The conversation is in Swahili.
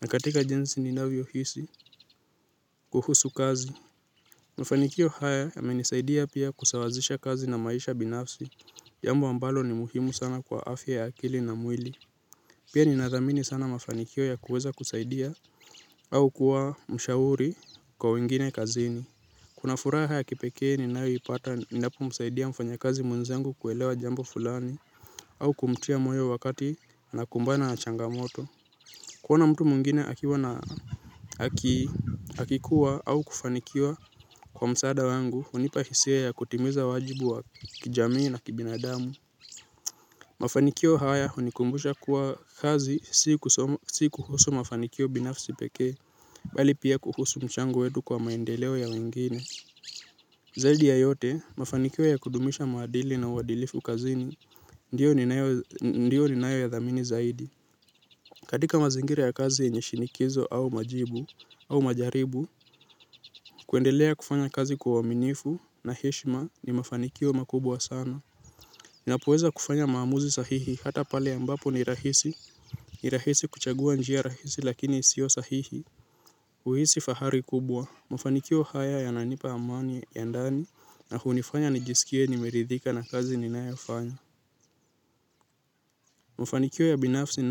na katika jinsi ninavyohisi kuhusu kazi. Mafanikio haya yamenisaidia pia kusawazisha kazi na maisha binafsi, jambo ambalo ni muhimu sana kwa afya ya akili na mwili. Pia ninathamini sana mafanikio ya kuweza kusaidia au kuwa mshauri kwa wengine kazini. Kuna furaha ya pekee ninayoipata ninapomsaidia mfanyikazi mwenzangu kuelewa jambo fulani au kumtia moyo wakati anakumbana na changamoto. Kuona mtu mwengine akikuwa au kufanikiwa kwa msaada wangu, hunipa hisia ya kutimiza wajibu wa kijamii na kibinadamu. Mafanikio haya hunikumbusha kuwa kazi si kuhusu mafanikio binafsi pekee, bali pia kuhusu mchango wetu kwa maendeleo ya wengine. Zaidi ya yote, mafanikio ya kudumisha maadili na uadilifu kazini, ndio ninayoyathamini zaidi. Katika mazingira ya kazi yenye shinikizo au majibu au majaribu, kuendelea kufanya kazi kwa uaminifu na heshma ni mafanikio makubwa sana. Ninapoweza kufanya maamuzi sahihi hata pale ambapo ni rahisi, ni rahisi kuchagua njia rahisi lakini isio sahihi. Kuhisi fahari kubwa, mafanikio haya yananipa amani ya ndani na hunifanya nijisikie nimeridhika na kazi ninayofanya. Mafanikio ya binafsi na.